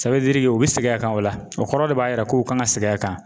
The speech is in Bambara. u bi segin a kan o la o kɔrɔ de b'a jira ko u kan ka segin a kan